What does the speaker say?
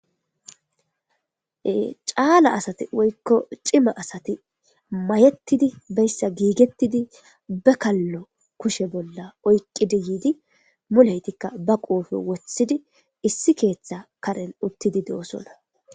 caala asati woykko cima asati mayettidi beyssa giigettidi bekallo kushe bolla oyqqidi yiidi muleytikka ba quufe woththidi issi keeththa karen uttidi de7osona.